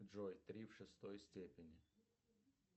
джой три в шестой степени